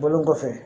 Bɔlen kɔfɛ